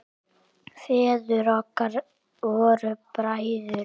Feður okkar voru bræður.